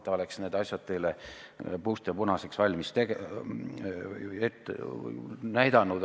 Ta oleks need asjad teile puust ja punaseks ette teinud.